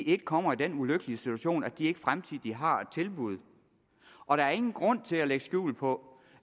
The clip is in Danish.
ikke kommer i den ulykkelige situation at de ikke fremtidigt har et tilbud og der er ingen grund til at lægge skjul på